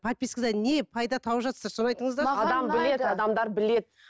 подпискадан не пайда тауып жатырсыздар соны айтыңыздаршы